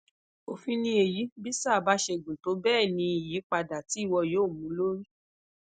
ofin ni eyi bi saa ba se gun tobeeni iyipada ti iwo yoo mu lori